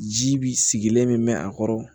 Ji bi sigilen bɛ mɛn a kɔrɔ